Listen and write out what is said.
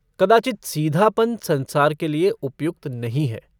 कदाचित् सीधापन संसार के लिए उपयुक्त नहीं है।